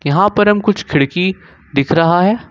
यहां पर हम कुछ खिड़की दिख रखा है।